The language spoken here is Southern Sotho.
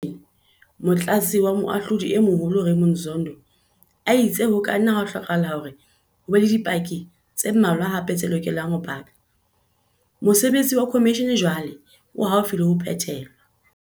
Leha modulasetulo wa khomishene, Motlatsi wa Moahlodi e Moholo Raymond Zondo a itse ho ka nna ha hlokahala hore ho be le dipaki tse mmalwa hape tse lokelang ho paka, mosebetsi wa khomishene jwale o haufi haholo le ho phethelwa.